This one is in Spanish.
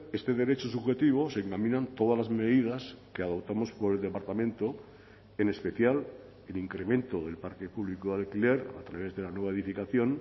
este derecho subjetivo se encaminan todas las medidas que adoptamos por el departamento en especial el incremento del parque público de alquiler a través de la nueva edificación